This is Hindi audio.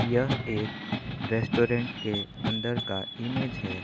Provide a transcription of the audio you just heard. यह एक रेस्टुरेंट के अंदर का इमेज है।